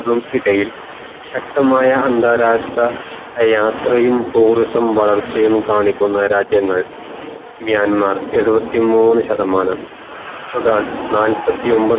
ശക്തമായാ അന്താരാഷ്ട്ര യാത്രയും tourism വളർച്ചയും കാണിക്കുന്ന രാജ്യങ്ങൾ മ്യാന്മാർ ഏഴുവത് മൂന്ന് ശതമാനം സുഡാൻ നാല്പതോയൊമ്പത് ശതമാനം